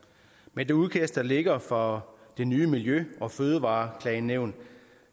med det udkast der ligger for det nye miljø og fødevareklagenævn